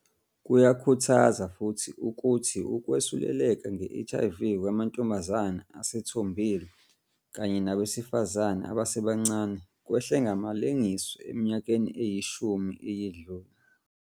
Kuyakhuthaza futhi ukuthi ukwesuleleka nge-HIV kwamantombazane asethombile kanye nabesifazane abasebancane kwehle ngamalengiso eminyakeni eyishumi eyedlule.